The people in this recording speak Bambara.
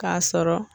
K'a sɔrɔ